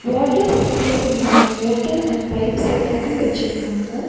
Water சப்ளைகுண்டான motor and pipe செட்டப்பும் வச்சிருக்காங்க.